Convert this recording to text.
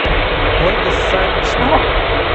ольга савична